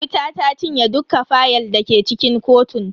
Wuta ta cinye dukka fayal dake cikin kotun.